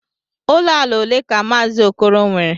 Uo ala ole ka Maazị Okoro nwere?